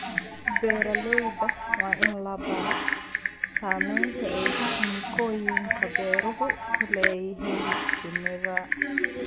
Beeralayda waa in la baro saamaynta ay kiimikooyinka beeruhu ku leeyihiin shinida.